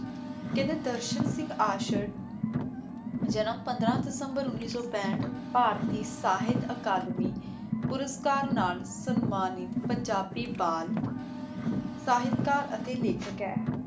ਕੇਹ੍ਨ੍ਡੇ ਦਰਸ਼ਨ ਸਿੰਘ ਆਸ਼ੀਰ ਜਨਮ ਪੰਦਰਾਂ ਦਿਸੰਬਰ ਉਨੀ ਸੋ ਪੰਥ ਭਾਰਤੀ ਸਾਹਿਤ ਅਕਾਦਮੀ ਪੁਰੁਸ੍ਕਾਰ ਨਾਲ ਸਮਾਨਿਤ ਪੰਜਾਬੀ ਬਾਲ ਸਾਹਿਤ ਕਰ ਅਤੀ ਲੇਖਕ ਆਯ